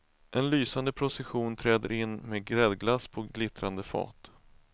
En lysande procession träder in med gräddglass på glittrande fat.